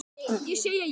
Ég segi já!